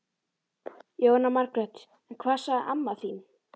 Jóhanna Margrét: En hvað sagði amma þín?